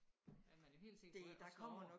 Er man jo helt sikker på at slå over